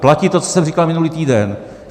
Platí to, co jsem říkal minulý týden.